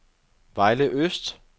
Vejle Øst